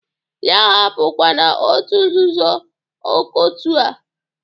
Ya ahapụkwana otu nzuzo ọkọtu a!